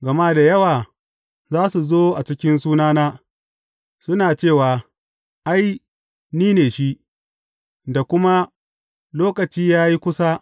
Gama da yawa za su zo a cikin sunana, suna cewa, Ai, ni ne shi,’ da kuma, Lokaci ya yi kusa.’